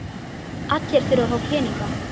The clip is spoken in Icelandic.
Allir þurfa að fá peninga.